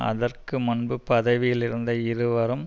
அதற்க்கு முன்பு பதவியில் இருந்த இருவரும்